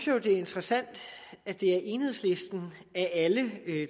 jo det er interessant at det er enhedslisten af alle